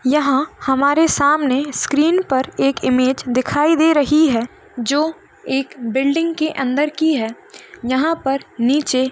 यहाँ हमारे सामने स्क्रीन पर एक इमेज दिखाई दे रहीं है जो एक बिल्डिंग के अन्दर की है यहाँ पर नीचे --